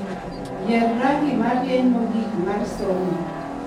Yier rangi marieny mogik mar somo